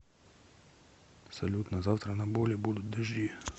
салют на завтра на боли будут дожди